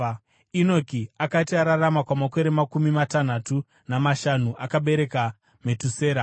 Enoki akati ararama kwamakore makumi matanhatu namashanu, akabereka Metusera.